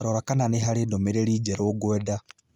Rora kana nĩ harĩ ndũmĩrĩri njerũ ngwenda